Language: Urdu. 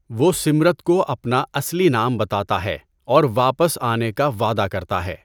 وہ سمرت کو اپنا اصلی نام بتاتا ہے اور واپس آنے کا وعدہ کرتا ہے۔